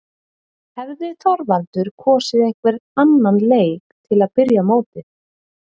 Hefði Þorvaldur kosið einhvern annan leik til að byrja mótið?